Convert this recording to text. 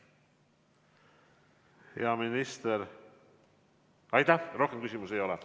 Hea minister, rohkem küsimusi ei ole.